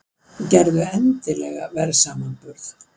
Gerðu endilega verðsamanburð!